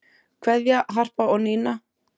Kveðja, Harpa og Nína.